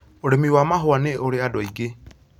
Ũrimi wa mahũa nĩ ũrĩ andũ aingĩ